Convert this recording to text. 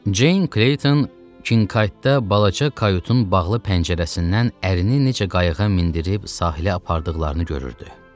Ceyn Kleyton Kinkaytda balaca kayutun bağlı pəncərəsindən əlinin necə qayığa mindirib sahilə apardıqlarını görürdü.